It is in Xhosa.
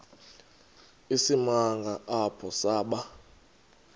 isimanga apho saba